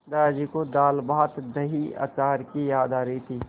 दादाजी को दालभातदहीअचार की याद आ रही थी